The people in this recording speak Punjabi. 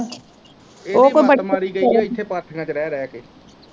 ਇਹਦੀ ਮੱਤ ਮਾਰੀ ਗਈ ਆ ਇਥੇ ਪਾਥੀਆਂ ਚ ਰਿਹ ਰਿਹ ਕ।